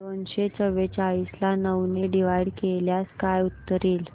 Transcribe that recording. दोनशे चौवेचाळीस ला नऊ ने डिवाईड केल्यास काय उत्तर येईल